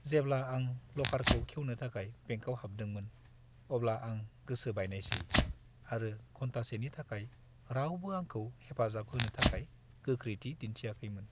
जेब्ला आं लकारखौ खेवनो थाखाय बेंकआव हाबदोंमोन, अब्ला आं गोसो बायनायसै आरो घन्टासेनि थाखाय रावबो आंखौ हेफाजाब होनो थाखाय गोख्रैथि दिन्थियाखैमोन।